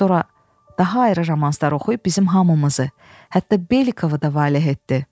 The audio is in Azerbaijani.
Sonra daha ayrı romanlar oxuyub bizim hamımızı, hətta Belikovu da valeh etdi.